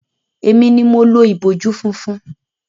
Emi ni mo lo ìbojú funfun.